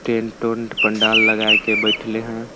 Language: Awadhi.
टेंट ऊंट पंडाल लगाए के बैठले हन--